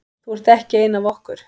Þú ert ekki ein af okkur.